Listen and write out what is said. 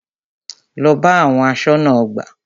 Lọ bá àwọn aṣọ́nà ọgbà!